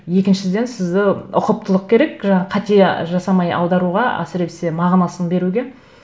екіншіден сізді ұқыптылық керек жаңағы қате жасамай аударуға әсіресе мағынасын беруге